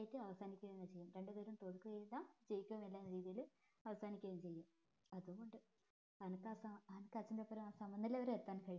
chess അവസാനിക്ക തന്നെ ചെയ്യും ഇരുവരും തോൽക്കുകയുമില്ല ജയിക്കുകയുമില്ല രീതിയില് അവസാനിക്കുക തന്നെ ചെയ്യും അത് കൊണ്ട് സമനില വരെ എത്താൻ